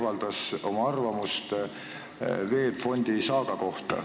Millist arvamust ta selle kohta avaldas?